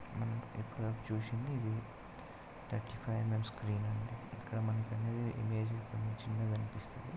ఇక్కడ చూసింది మమ్ స్క్రీన్ అండి ఇక్కడ వేరే విధముగా కనిపిస్తోంది .